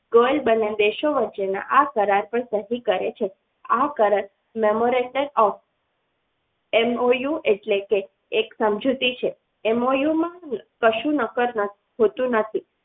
બંને દેશો વચ્ચેના આ કરાર પર સહી કરે છે આ કરાર memorated of MOU એટલે કે એક સમજૂતી છે MOU માં કશું નકર હોતું નથી.